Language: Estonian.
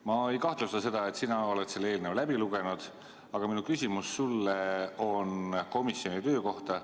Ma ei kahtle, et sina oled selle eelnõu läbi lugenud, aga minu küsimus sulle on komisjoni töö kohta.